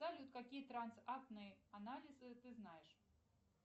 салют какие трансактные анализы ты знаешь